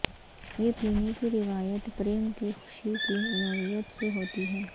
یہ پینے کی روایت پریم کی خوشی کی نوعیت سے ہوتی ہے